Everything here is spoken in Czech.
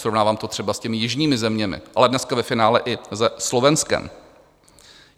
Srovnávám to třeba s těmi jižními zeměmi, ale dneska ve finále i se Slovenskem.